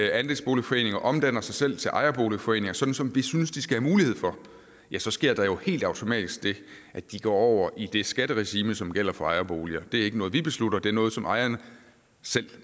andelsboligforeninger omdanner sig selv til ejerboligforeninger sådan som vi synes de skal have mulighed for ja så sker der jo helt automatisk det at de går over i det skatteregime som gælder for ejerboliger det er ikke noget vi beslutter det er noget som ejerne selv